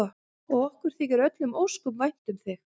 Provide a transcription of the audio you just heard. Og okkur þykir öllum ósköp vænt um þig.